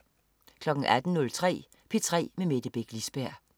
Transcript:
18.03 P3 med Mette Beck Lisberg